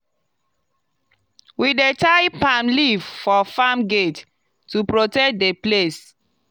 we dey tie palm leaf for farm gate to protect the place.